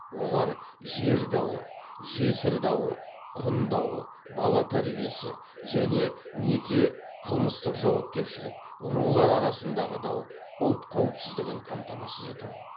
олар жер дауы жесір дауы құн дауы бала тәрбиесі және неке қылмыстық жауапкершілік рулар арасындағы дау ұлт қауіпсіздігін қамтамасыз ету